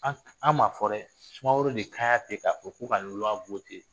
An an m'a fɔ dɛ sumaworo de kan ten ka fɔ k'o ka luwa wote